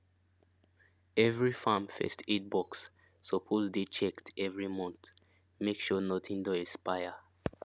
every farm first aid box suppose dey checked every month make sure nothing don expire